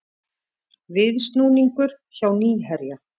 Viðsnúningur hjá Nýherja